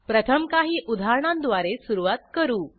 प्रथम काही उदाहरणांद्वारे सुरूवात करू